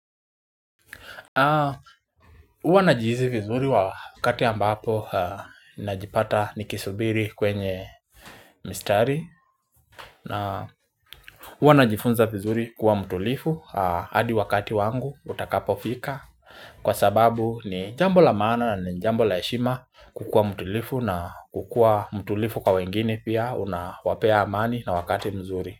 Huwa najihisi vizuri wakati ambapo najipata nikisubiri kwenye mistari Hwa najifunza vizuri kuwa mtulivu hadi wakati wangu utakapo fika Kwa sababu ni jambo la maana ni jambo la heshima kukuwa mtulivu na kukua mtulivu kwa wengine pia unawapea amani na wakati mzuri.